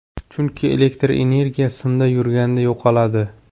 Chunki elektr energiya simda yurganda yo‘qoladi.